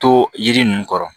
To yiri ninnu kɔrɔ